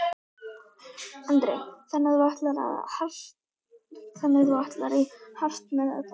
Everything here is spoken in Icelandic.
Andri: Þannig að þú ætlar í hart með þetta?